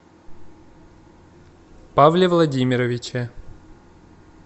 павле владимировиче